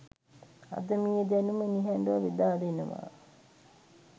අද මේ දැනුම නිහඬව බෙදා දෙනවා.